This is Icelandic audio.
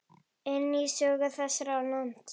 inn í sögu þessa lands.